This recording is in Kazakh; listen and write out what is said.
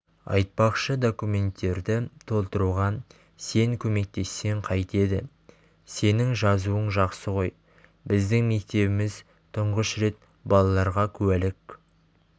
айтпақшы документтерді толтыруға сен көмектессең қайтеді сенің жазуың жақсы той біздің мектебіміз тұнғыш рет балаларға куәлік